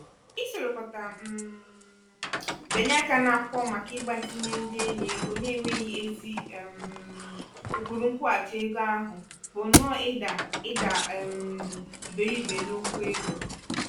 "isorokọta um bịanye aka n'akwụkwọ màkà igbazinye ndị enyi ego n'enweghị ezi um ụkpụrụ nkwụghachi ego ahụ bụ nnọ ịda ịda um iberibe n'okwu ego.